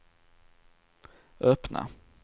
öppna